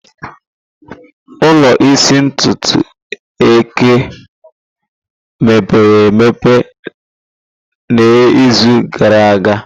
Ụlọ ịsa ntutu eke o emepere emepe n'izu gara aga?